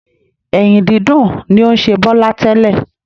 Ẹ̀yìn dídùn ni ó ń ṣe Bọ́lá tẹ́lẹ̀